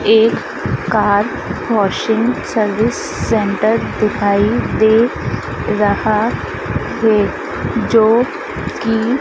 एक car washing service centre दिखाई दे रहा है जो कि--